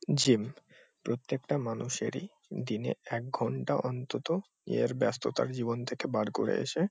gym প্রত্যেকটা মানুষেরই দিনে এক ঘণ্টা অন্তত এর ব্যাস্ততার জীবন থেকে বার করে এসে--